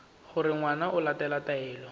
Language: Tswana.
gore ngwana o latela taelo